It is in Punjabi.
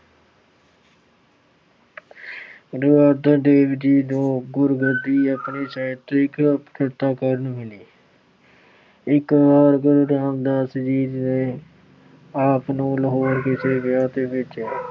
ਗੁਰੂ ਅਰਜਨ ਦੇਵ ਜੀ ਨੂੰ ਗੁਰਗੱਦੀ ਆਪਣੀ ਸਾਹਿਤਕ ਪ੍ਰਤਿਭਾ ਕਾਰਨ ਮਿਲੀ। ਇੱਕ ਵਾਰ ਗੁਰੂ ਰਾਮਦਾਸ ਜੀ ਨੇ ਆਪ ਜੀ ਨੂੰ ਲਾਹੌਰ ਕਿਸੇ ਵਿਆਹ ਤੇ ਭੇਜਿਆ।